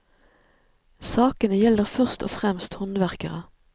Sakene gjelder først og fremst håndverkere.